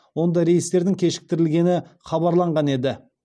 онда рейстердің кешіктірілгені хабарланған еді